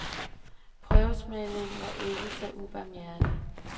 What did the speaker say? Prøvesmagningen var lige så ubarmhjertig.